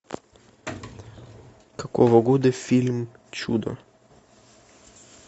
какого года фильм чудо